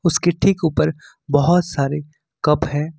इसके ठीक ऊपर बहोत सारे कप है।